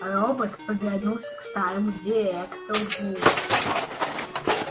робот повернулся к старому директору